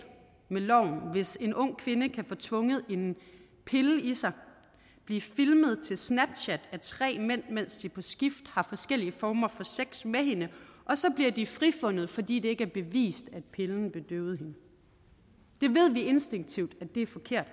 med loven hvis en ung kvinde kan få tvunget en pille i sig blive filmet til snapchat af tre mænd mens de på skift har forskellige former for sex med hende og så bliver de frifundet fordi det ikke er bevist at pillen bedøvede hende det ved vi instinktivt er forkert